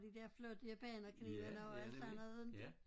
De der flotte japanerknivene og et eller andet inte